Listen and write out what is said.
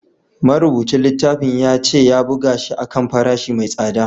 Marubucin littafin ya ce ya buga shi a kan farashi mai tsada